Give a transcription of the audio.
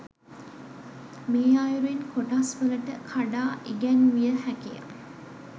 මේ අයුරින් කොටස්වලට කඩා ඉගැන්විය හැකිය